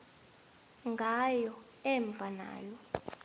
ngayo emva nayo